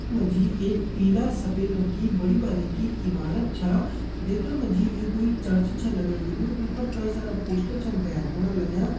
यख मा जी एक पीला सफेद रंग की बड़ी बारीकि ईमारत छ देखण मा जी यु क्वे चर्च छ लगण लग्युं इ पर कई सारा पोस्टर छन भेर फण लग्यां।